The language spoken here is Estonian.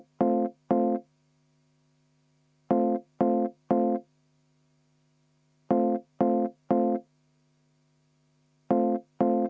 V a h e a e g